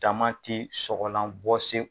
ti sɔgɔlan bɔ se